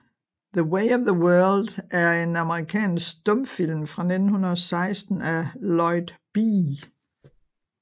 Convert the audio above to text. The Way of the World er en amerikansk stumfilm fra 1916 af Lloyd B